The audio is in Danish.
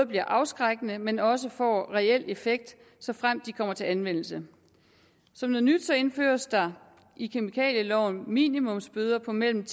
bliver afskrækkende men også får reel effekt såfremt de kommer til anvendelse som noget nyt indføres der i kemikalieloven minimumsbøder på mellem